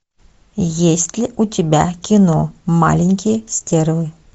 есть ли у тебя кино маленькие стервы